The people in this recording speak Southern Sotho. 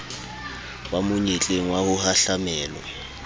ba monyetleng wa ho hahlamelwa